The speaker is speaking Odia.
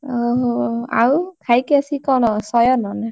ଓହୋ ଆଉ ଖାଇକି ଅଶି କଣ ଶୟନ ନା?